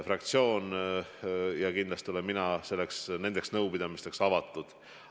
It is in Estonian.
Fraktsioonid ja kindlasti ka mina oleme nendeks nõupidamisteks avatud.